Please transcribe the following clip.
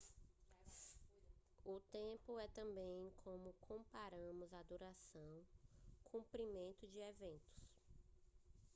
o tempo é também como comparamos a duração comprimento de eventos